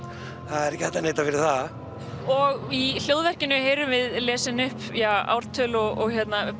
er ekki hægt að neita fyrir það og í heyrum við lesin upp ártöl og